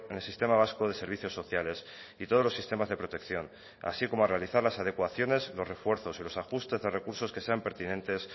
el sistema vasco de servicios sociales y todos los sistemas de protección así como a realizar las adecuaciones los refuerzos y los ajustes de recursos que sean pertinentes